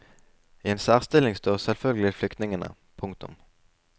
I en særstilling står selvfølgelig flykningene. punktum